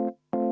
a e g